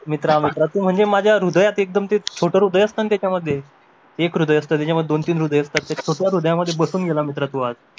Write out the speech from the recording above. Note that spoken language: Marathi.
मित्रा मित्रा म्हणजे तू माझ्या हृदयात एकदम ते छोट हृदय असत ना त्याच्यामध्ये एक हृदय असत त्याच्यामध्ये दोन तीन हृदय असतात तर त्या हृदयामध्ये बसून गेला मित्र तू आज